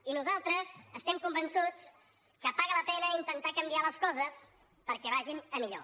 i nosaltres estem convençuts que paga la pena intentar canviar les coses perquè vagin millor